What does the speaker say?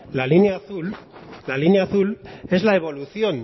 la línea azul la línea azul es la evolución